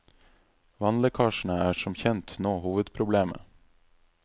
Vannlekkasjene er som kjent nå hovedproblemet.